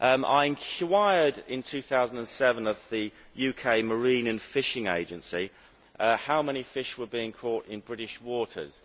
I enquired in 2007 of the UK Marine and Fisheries Agency how many fish were being caught in British waters.